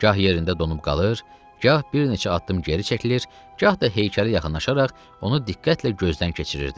Gah yerində donub qalır, gah bir neçə addım geri çəkilir, gah da heykələ yaxınlaşaraq onu diqqətlə gözdən keçirirdi.